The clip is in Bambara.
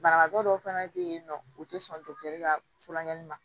Banabagatɔ dɔw fɛnɛ bɛ yen nɔ u tɛ sɔn ka furakɛli ma